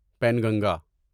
Penganga